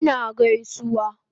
Ina gaisuwa